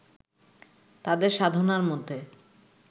তাঁদের সাধনার মধ্যে